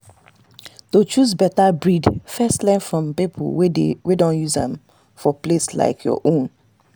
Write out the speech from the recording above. to choose better breed first learn from people wey don use am for place like your own.